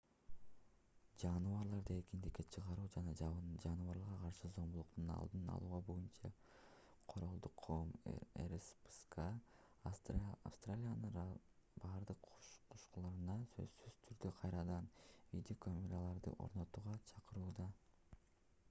жаныбарларды эркиндикке чыгаруу жана жаныбарларга каршы зомбулуктун алдын алуу боюнча королдук коом rspca австралиянын бардык кушканаларына сөзсүз түрдө кайрадан видеокамераларды орнотууга чакырууда